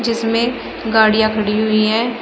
जिसमें गाड़ियां खड़ी हुई है।